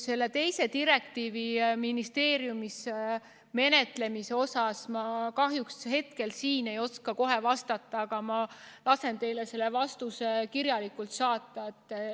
Selle teise direktiivi ministeeriumis menetlemise kohta ma kahjuks hetkel ei oska kohe vastata, aga ma lasen teile selle vastuse kirjalikult saata.